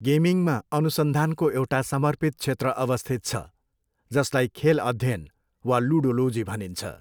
गेमिङमा अनुसन्धानको एउटा समर्पित क्षेत्र अवस्थित छ, जसलाई खेल अध्ययन वा लुडोलोजी भनिन्छ।